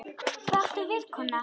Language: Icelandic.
Hvað áttu við, kona?